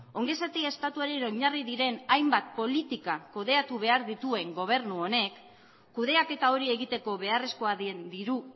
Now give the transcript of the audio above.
ongizate estatuaren oinarri diren hainbat politika kudeatu behar dituen gobernu honek kudeaketa hori egiteko beharrezkoa den diru